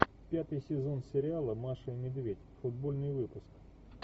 пятый сезон сериала маша и медведь футбольный выпуск